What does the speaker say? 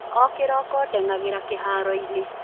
o kirokodeng'agira kiharoini